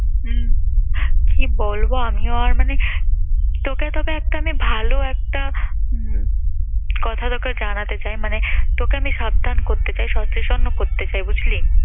উম কি বলবো আমিও আর মানে তোকে তোকে একটা আমি ভাল একটা উম কথা তোকে জানাতে চাই, মানে তোকে আমি সাবধান করতে চাই, সচেতনও করতে চাই। বুঝলি?